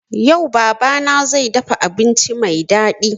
Yau baba na zai dafa abinci mai daɗi